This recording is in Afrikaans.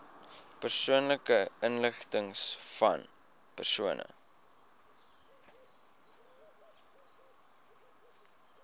persoonlike inligtingvan persone